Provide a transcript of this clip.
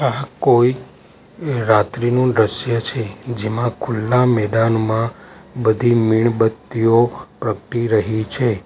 કોઈ રાત્રિનું દ્રશ્ય છે જેમાં ખુલ્લા મેદાનમાં બધી મીણબત્તીઓ પ્રગટી રહી છે.